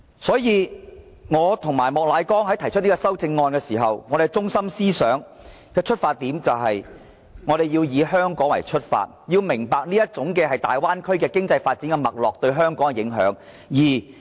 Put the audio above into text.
所以，我和莫乃光議員提出修正案時，我們的中心思想和出發點是，我們要以香港出發，要明白這種大灣區經濟發展的脈絡對香港的影響。